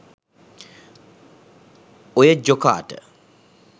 ඔය ජොකාට